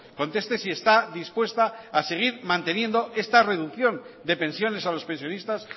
conteste si está dispuesta a seguir manteniendo esta reducción de pensiones a los pensionistas